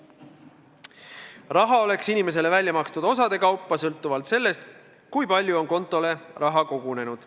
Raha oleks inimesele välja makstud osade kaupa, sõltuvalt sellest, kui palju on kontole raha kogunenud.